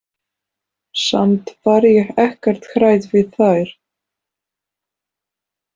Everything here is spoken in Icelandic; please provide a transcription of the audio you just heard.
Samt var ég ekkert hrædd við þær.